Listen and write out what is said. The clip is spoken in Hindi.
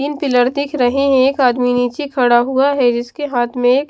तीन पिलर दिख रहे हैं एक आदमी नीचे खड़ा हुआ है जिसके हाथ में एक --